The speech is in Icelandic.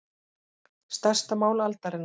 Stærsta mál aldarinnar